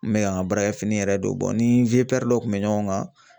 N bɛ ka n ka baarakɛ fini yɛrɛ don ni dɔ kun bɛ ɲɔgɔn kan